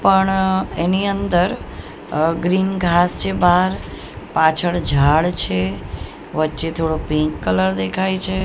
પણ અહ એની અંદર ગ્રીન ઘાંસ છે બહાર પાછળ ઝાડ છે વચ્ચે થોડો પિંક કલર દેખાય છે.